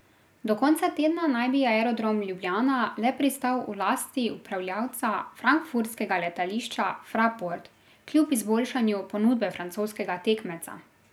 Do konca tedna naj bi Aerodrom Ljubljana le pristal v lasti upravljavca frankfurtskega letališča Fraport, kljub izboljšanju ponudbe francoskega tekmeca.